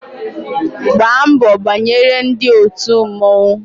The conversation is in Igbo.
Gbaa mbọ banyere ndị òtù mmọnwụ